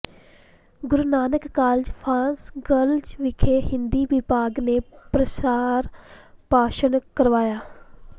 Guru Nanak college for girls ਵਿਖੇ ਹਿੰਦੀ ਵਿਭਾਗ ਨੇ ਪ੍ਰਸਾਰ ਭਾਸ਼ਣ ਕਰਵਾਇਆ